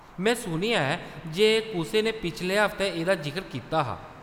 में सुनेआ ऐ जे कुसै ने पिछले हफ्तै एह्‌‌‌दा जिकर कीता हा।